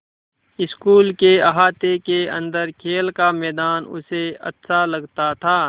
school के अहाते के अन्दर खेल का मैदान उसे अच्छा लगता था